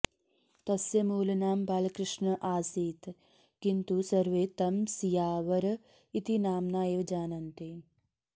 तस्य मूल नाम बालकृष्ण आसीत् किन्तु सर्वे तं सीयावर इति नाम्ना एव जानन्ति